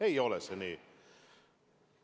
Ei ole see nii.